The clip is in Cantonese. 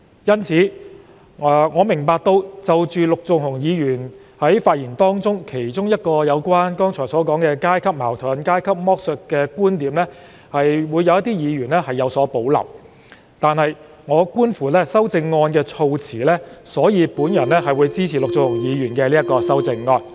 因此，對於陸頌雄議員發言時提及的階級矛盾和階級剝削的其中一個觀點，我明白有一些議員會有所保留，但觀乎其修正案的措辭，我會支持陸頌雄議員的修正案。